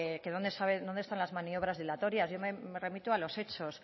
de que dónde están las maniobras dilatorias yo me remito a los hechos